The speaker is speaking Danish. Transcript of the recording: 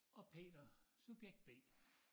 Og Peter subjekt B